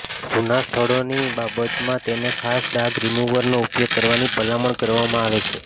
જૂના સ્થળોની બાબતમાં તેને ખાસ ડાઘ રીમુવરનો ઉપયોગ કરવાની ભલામણ કરવામાં આવે છે